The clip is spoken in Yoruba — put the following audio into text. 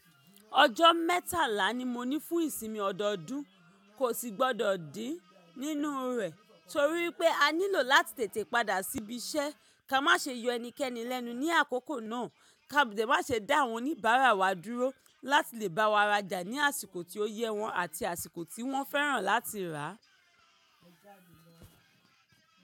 Ọjọ́ mẹ́tàlá ni mo ní fún ìsinmi ọdọọdún, kò sì gbọdọ̀ dín nínú rẹ̀ torí pé a nílò láti tètè padà síbi iṣẹ́. Ka má ṣe yọ ẹnikẹ́ni lẹ́nu ní àkókò náà, ká dẹ̀ má ṣe dá àwọn oníbàárà wa dúró láti lè bá wa rajà ní àsìkò tí ó yẹ wọ́n àti àsìkò tí wọ́n fẹ́ràn láti rà.